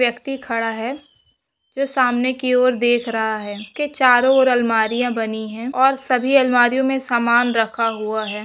व्यक्ति खड़ा है। जो सामने की ओर देख रहा है। कि चारों ओर अलमारियां बनी है और सभी अलमारीयां में सामान रखा हुआ है।